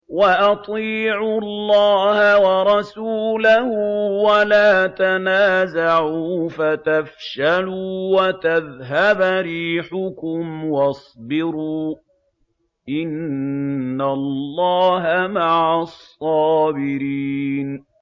وَأَطِيعُوا اللَّهَ وَرَسُولَهُ وَلَا تَنَازَعُوا فَتَفْشَلُوا وَتَذْهَبَ رِيحُكُمْ ۖ وَاصْبِرُوا ۚ إِنَّ اللَّهَ مَعَ الصَّابِرِينَ